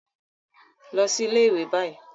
Lọ si ile-iwe bayi